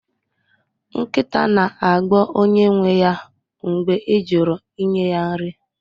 Nkịta na-agbọ onye nwe ya mgbe ị jụrụ inye ha nri